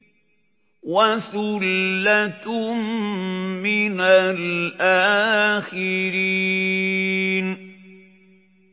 وَثُلَّةٌ مِّنَ الْآخِرِينَ